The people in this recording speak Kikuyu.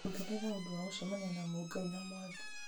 ongerera ũndũ wa gũcemania na mũngai na mwangi